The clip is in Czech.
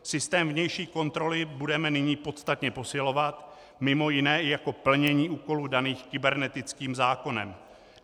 Systém vnější kontroly budeme nyní podstatě posilovat, mimo jiné i jako plnění úkolů daných kybernetickým zákonem.